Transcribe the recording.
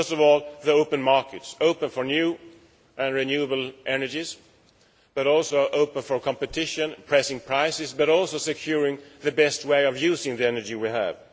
First of all, open markets open for new and renewable energies, but also open for competition, pressing prices, but also securing the best way of using the energy we have.